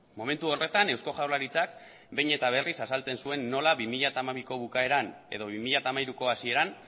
momentu horretan eusko jaurlaritzak behin eta berriz azaltzen zuen nola bi mila hamabiko bukaeran edo bi mila hamairuko hasieran